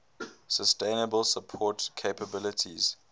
sustainable support capabilities